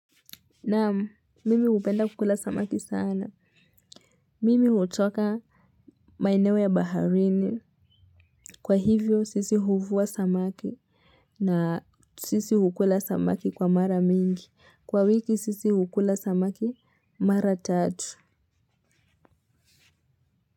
Nam mimi hupenda kukula samaki sana. Mimi hutoka maeo ya baharini. Kwa hivyo, sisi huvua samaki. Na sisi hukula samaki kwa mara mingi. Kwa wiki, sisi hukula samaki mara tatu.